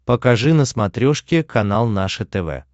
покажи на смотрешке канал наше тв